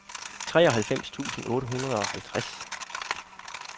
treoghalvfems tusind otte hundrede og halvtreds